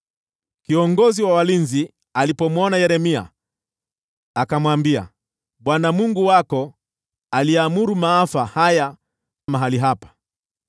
Kiongozi wa walinzi alipomwona Yeremia, akamwambia, “ Bwana Mungu wako aliamuru maafa haya kwa mahali hapa.